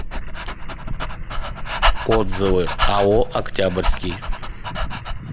отзывы ао октябрьский